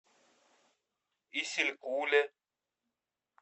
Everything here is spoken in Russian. исилькуле